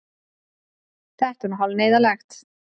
Þetta er nú hálf neyðarlegt.